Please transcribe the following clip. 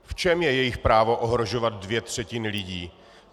V čem je jich právo ohrožovat dvě třetiny lidí?